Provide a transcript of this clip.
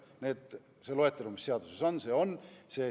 Nii et see loetelu, mis seaduses on, see on.